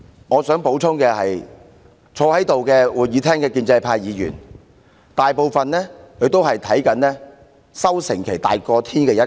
我想補充的是，坐在會議廳內的建制派議員，大多是把收成期看得比天還要大的一群。